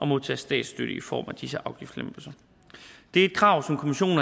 modtage statsstøtte i form af disse afgiftslempelser det er et krav som kommissionen